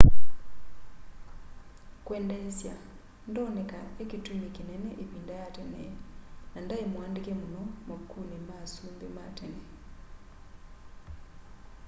kwendeesya ndoneka ekĩtũmĩ kĩnene ĩvĩnda ya tene na ndaĩ mũandĩke mũno mavũkũnĩ ma asũmbĩ matene